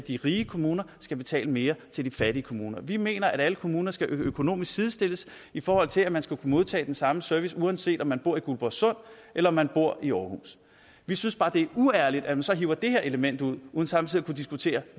at de rige kommuner skal betale mere til de fattige kommuner vi mener at alle kommuner skal økonomisk sidestilles i forhold til at man skal kunne modtage den samme service uanset om man bor i guldborgsund eller om man bor i aarhus vi synes bare det er uærligt at man så hiver det her element ud uden samtidig at kunne diskutere